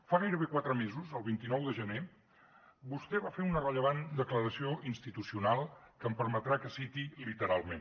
fa gairebé quatre mesos el vint nou de gener vostè va fer una rellevant declaració institucional que em permetrà que citi literalment